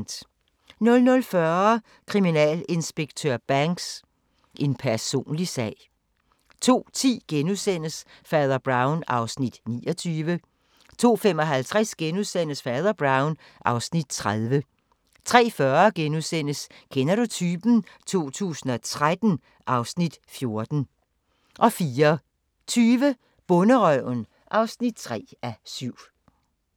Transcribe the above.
00:40: Kriminalinspektør Banks: En personlig sag 02:10: Fader Brown (Afs. 29)* 02:55: Fader Brown (Afs. 30)* 03:40: Kender du typen? 2013 (Afs. 14)* 04:20: Bonderøven (3:7)